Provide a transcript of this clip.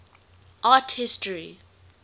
art history